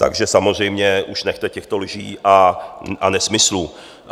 Takže samozřejmě už nechte těchto lží a nesmyslů.